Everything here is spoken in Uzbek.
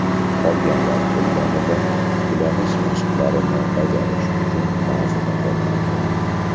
Qolganlar ketganida tiklanish mashqlarini bajarish uchun bazada qolardim.